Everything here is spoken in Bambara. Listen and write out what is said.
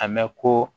A mɛn ko